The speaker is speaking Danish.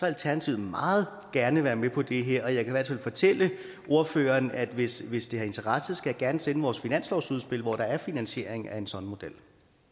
alternativet meget gerne være med på det her og jeg kan i hvert fald fortælle ordføreren at hvis hvis det har interesse skal jeg gerne sende vores finanslovsudspil hvor der er finansiering af en sådan model